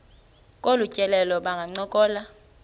kolu tyelelo bangancokola